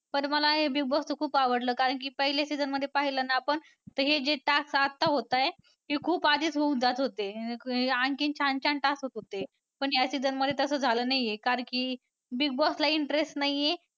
पण मला हे Big Boss च खूप आवडलं कारण की पहिल्या season मध्ये पाहिलं ना आपण तर हे task आता होतंय ते खूप आधीच होऊन जात होते आणखीन छान छान task होत होते पण या season मध्ये तसं झालं नाही आहे कारण की Big Boss ला interest नाही आहे